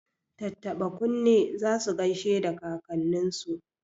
Tattaba kunne za su gaishe da kakanninsu.